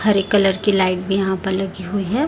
हरे colour की light भी यहां प लगी हुई है।